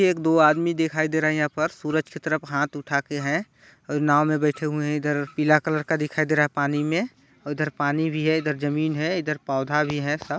एक दो आदमी दिखाई दे रहे है यहाँ पर सूरज की तरह हाथ उठा के हैं नाव में बैठे हुवे है इधर पीला कलर का दिखाई दे रहा है पानी में इधर पानी भी है इधर जमीन है इधर पौधा भी है सब।